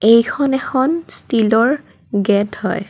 এইখন এখন ষ্টিলৰ গেট হয়।